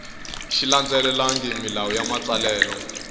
xi landzelelangi milawu ya matsalelo